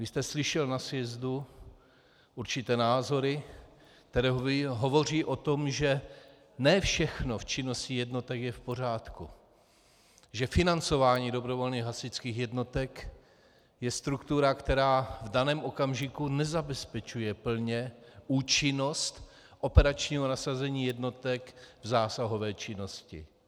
Vy jste slyšel na sjezdu určité názory, které hovoří o tom, že ne všechno v činnosti jednotek je v pořádku, že financování dobrovolných hasičských jednotek je struktura, která v daném okamžiku nezabezpečuje plně účinnost operačního nasazení jednotek v zásahové činnosti.